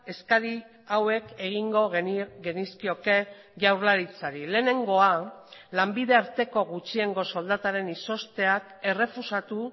eskari hauek egingo genizkioke jaurlaritzari lehenengoa lanbide arteko gutxiengo soldataren izozteak errefusatu